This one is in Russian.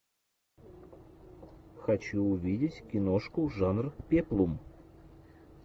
хочу увидеть киношку жанр пеплум